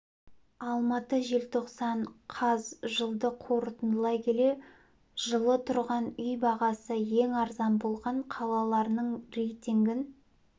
алматы желтоқсан қаз жылды қорытындылай келе жылы тұрғын үй бағасы ең арзан болған қалаларының рейтингін